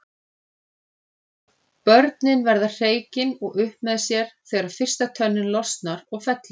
Börnin verða hreykin og upp með sér þegar fyrsta tönnin losnar og fellur.